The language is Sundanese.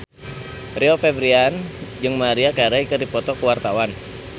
Rio Febrian jeung Maria Carey keur dipoto ku wartawan